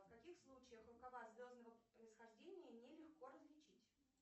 в каких случаях рукава звездного происхождения не легко различить